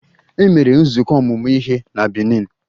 E mere nzukọ ọmụmụ ihe na Benin.